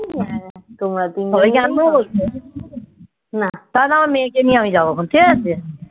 তোমরা তিন জনে জানবো তাহলে আমার মেয়েকে নিয়ে আমি যাবো এখন ঠিক আছে